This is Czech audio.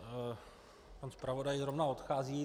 Pan zpravodaj zrovna odchází.